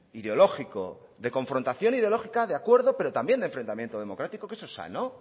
ideológico de confrontación ideológica de acuerdo pero también de enfrentamiento democrático que eso es sano